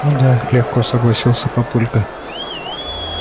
ну да легко согласился папулька